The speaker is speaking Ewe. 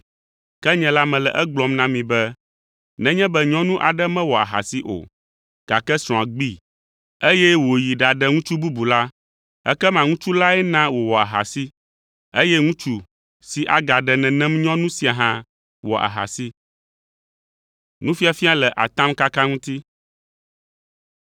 Ke nye la mele egblɔm na mi be, nenye be nyɔnu aɖe mewɔ ahasi o, gake srɔ̃a gbee, eye wòyi ɖaɖe ŋutsu bubu la, ekema ŋutsu lae na wòwɔ ahasi, eye ŋutsu si agaɖe nenem nyɔnu sia hã wɔ ahasi.”